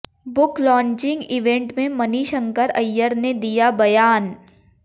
book launching event में मणिशंकर अय्यर ने दिया बयान